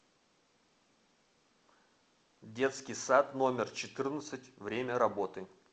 детский сад номер четырнадцать время работы